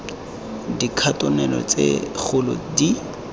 mo dikhatoneng tse segolo di